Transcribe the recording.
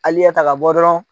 Ali ɲɛtaga bɔ dɔrɔn